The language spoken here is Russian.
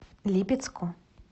липецку